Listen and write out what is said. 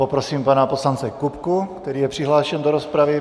Poprosím pana poslance Kupku, který je přihlášen do rozpravy.